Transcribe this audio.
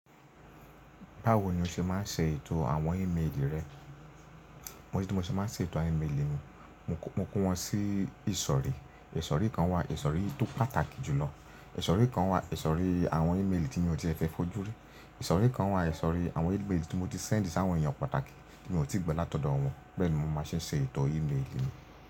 Báwo ni o ṣe máa ń ṣe ètò àwọn ímélì rẹ? Oni tí mo ṣe máa ń ṣe ètò àwọn ímélì mi, mo kún wọn sí ìsọ̀rí. Ìsọ̀rí kan wà, ìsọ̀rí tó pàtàkì jùlọ. Ìsọ̀rí kan wà, ìsọ̀rí àwọn ímélì tí mi o tí ẹ fẹ́ fojú rí. Ìsọ̀rí kan wà, ìsọ̀rí àwọn ímélì tí mo ti send sí àwọn ènìyàn pàtàkì tí mi ò tíì gbo látọ̀dọ̀ wọn. Bẹ́ẹ̀ ni mo máa ń ṣe ṣe ètò ímélì mi.